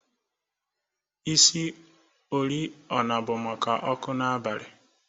Isi oriọna bụ maka ọkụ n'abalị